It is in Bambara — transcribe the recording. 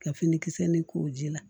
Ka fini kisɛ nin k'o ji la